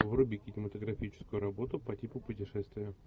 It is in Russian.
вруби кинематографическую работу по типу путешествия